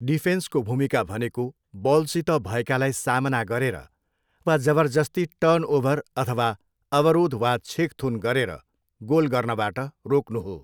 डिफेन्सको भूमिका भनेको बलसित भएकालाई सामना गरेर वा जबरजस्ती टर्नओभर अथवा अवरोध वा छेकथुन गरेर गोल गर्नबाट रोक्नु हो।